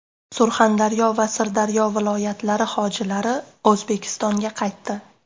Surxondaryo va Sirdaryo viloyatlari hojilari O‘zbekistonga qaytdi.